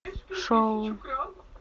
шоу